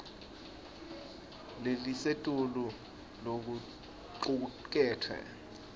lelisetulu lokucuketfwe